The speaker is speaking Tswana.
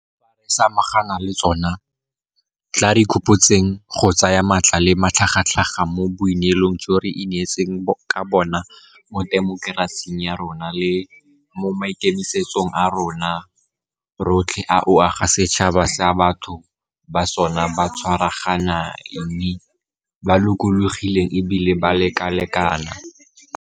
Fa re samagana le tsona, tla re ikgopotseng go tsaya maatla le matlhagatlhaga mo boineelong jo re ineetseng ka bona mo temokerasing ya rona le mo maikemisetsong a rona rotlhe a go aga setšhaba sa batho ba sona ba tshwaraganeng, ba lokologileng e bile ba lekalekana.